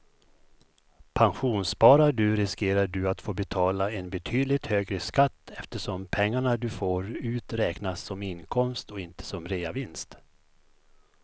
Pensionssparar du riskerar du att få betala en betydligt högre skatt eftersom pengarna du får ut räknas som inkomst och inte som reavinst.